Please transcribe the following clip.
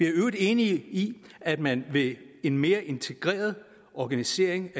i øvrigt enige i at man ved en mere integreret organisering